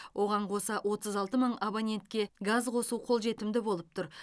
оған қоса отыз алты мың абонентке газ қосу қолжетімді болып тұр